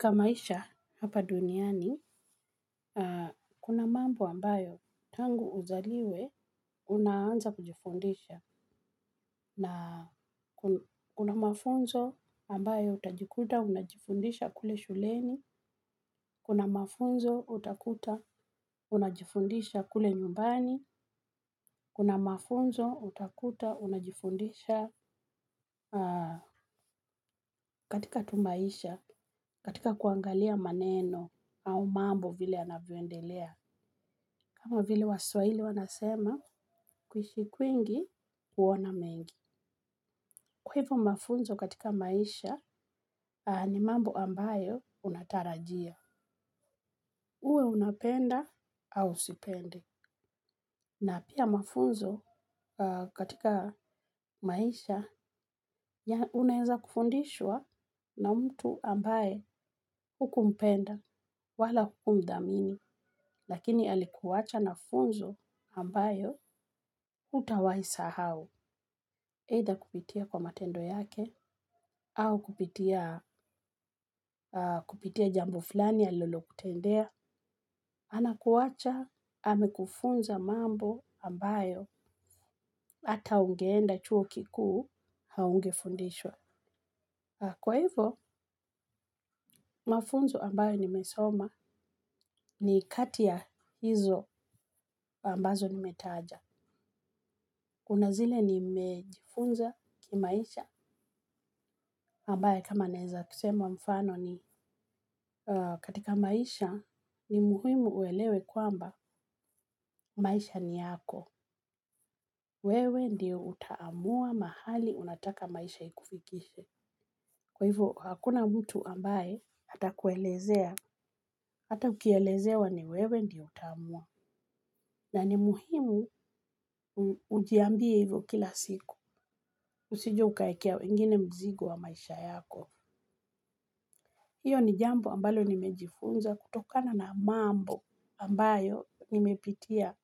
Kwa maisha hapa duniani kuna mambo ambayo tangu uzaliwe unaanza kujifundisha. Na kuna mafunzo ambayo utajikuta, unajifundisha kule shuleni. Kuna mafunzo utakuta, unajifundisha kule nyumbani. Kuna mafunzo utakuta, unajifundisha katika tu maisha, katika kuangalia maneno au mambo vile anavyoendelea. Kama vile waswahili wanasema kuishi kwingi kuona mengi. Kwa hivo mafunzo katika maisha ni mambo ambayo unatarajia. Uwe unapenda au usipende. Na pia mafunzo katika maisha unaweza kufundishwa na mtu ambaye huku mpenda wala huku mdhamini. Lakini alikuwacha na funzo ambayo hutawahi sahau. Aidha kupitia matendo yake au kupitia jambo fulani alilokutendea anakuwacha, amekufunza mambo ambayo hata ungeenda chuo kiku haunge fundishwa. Kwa hivo, mafunzo ambayo nimesoma ni kati ya hizo ambazo nimetaja. Kuna zile nimejifunza kimaisha, ambayo kama naweza kusema mfano ni katika maisha ni muhimu uelewe kwamba maisha ni yako. Wewe ndiyo utaamua mahali unataka maisha ikufikishe. Kwa hivyo, hakuna mtu ambaye ata kuelezea, hata ukielezewa ni wewe ndiyo utaamua. Na ni muhimu ujiambie hivyo kila siku, usije ukawekea wengine mzigo wa maisha yako. Hiyo ni jambo ambalo nimejifunza kutokana na mambo ambayo nimepitia